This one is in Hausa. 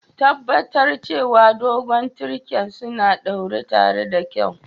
Tabatar cewa dogon tirken suna ɗaure tare da kyau.